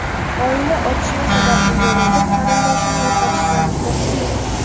Oila otishma sababli yana bir qarindoshini yo‘qotishdan juda qo‘rqqan.